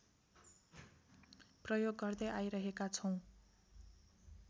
प्रयोग गर्दै आइरहेका छौँ